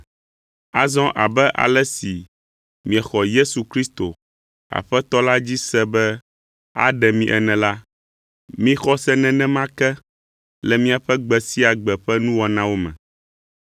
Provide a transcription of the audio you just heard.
Azɔ abe ale si miexɔ Yesu Kristo, Aƒetɔ la dzi se be aɖe mi ene la, mixɔ se nenema ke le miaƒe gbe sia gbe ƒe nuwɔnawo me.